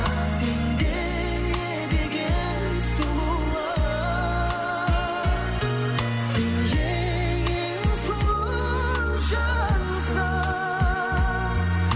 сенде не деген сұлулық сен ең ең сұлу жансың